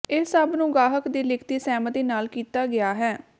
ਇਹ ਸਭ ਨੂੰ ਗਾਹਕ ਦੀ ਲਿਖਤੀ ਸਹਿਮਤੀ ਨਾਲ ਕੀਤਾ ਗਿਆ ਹੈ